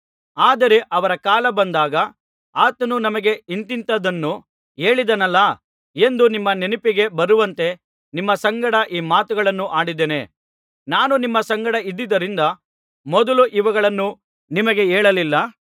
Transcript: ಆದರೆ ಅವರ ಕಾಲ ಬಂದಾಗ ಆತನು ನಮಗೆ ಇಂಥಿಂಥದ್ದನ್ನು ಹೇಳಿದನಲ್ಲಾ ಎಂದು ನಿಮ್ಮ ನೆನಪಿಗೆ ಬರುವಂತೆ ನಿಮ್ಮ ಸಂಗಡ ಈ ಮಾತುಗಳನ್ನು ಆಡಿದ್ದೇನೆ ನಾನು ನಿಮ್ಮ ಸಂಗಡ ಇದ್ದುದರಿಂದ ಮೊದಲು ಇವುಗಳನ್ನು ನಿಮಗೆ ಹೇಳಲಿಲ್ಲ